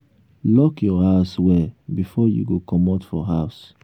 lock your house well before you go comot for for house